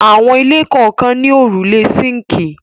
Àwọn ilé kọ̀ọ̀kan ní òrùlé síńkì.